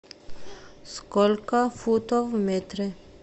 сколько футов в метре